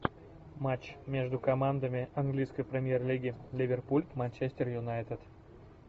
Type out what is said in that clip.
матч между командами английской премьер лиги ливерпуль манчестер юнайтед